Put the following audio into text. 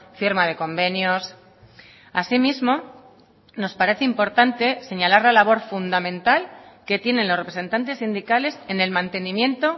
firma de convenios asimismo nos parece importante señalar la labor fundamental que tienen los representantes sindicales en el mantenimiento